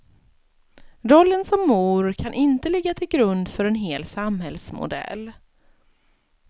Rollen som mor kan inte ligga till grund för en hel samhällsmodell.